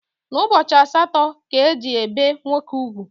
N’ụbọchị asaatọ ka e ji ebe nwoke ụgwụ